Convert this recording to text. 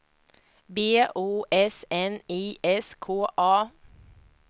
B O S N I S K A